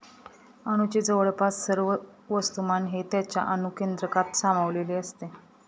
अणूचे जवळपास सर्व वस्तूमान हे त्याच्या अणुकेंद्रकात सामावलेले असते.